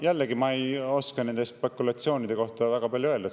Jällegi, ma ei oska nende spekulatsioonide kohta väga palju öelda.